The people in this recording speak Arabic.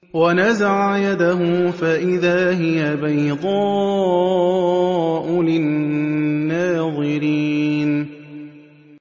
وَنَزَعَ يَدَهُ فَإِذَا هِيَ بَيْضَاءُ لِلنَّاظِرِينَ